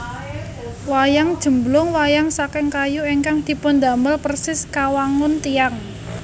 Wayang Jemblung Wayang saking kayu ingkang dipundamel persis kawangun tiyang